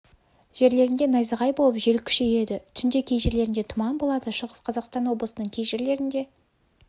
жерлерінде найзағай болып жел күшейеді түнде кей жерлерінде тұман болады шығыс қазақстан облысының кей жерлерінде